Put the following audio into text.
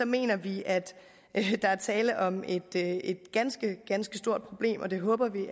mener vi at der er tale om et ganske ganske stort problem og det håber vi